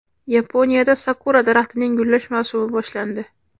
Yaponiyada sakura daraxtining gullash mavsumi boshlandi.